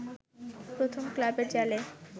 প্রথম ক্লাবের জালে